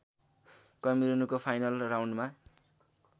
कैमरूनको final राउन्डमा